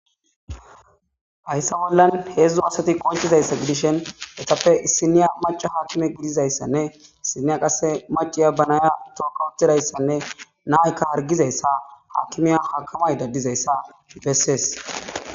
hayssa bollan heedzdzu asati qonchizayssa gidishen etappe issiniya maca haakime gidizayssanne issiniya qasse maciya banaya tooka utidayssanne naykka hargizayssa haakimiya hakamayida dizayssa besees